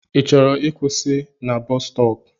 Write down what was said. I chọrọ ịkwụsị na bọs stọọpu?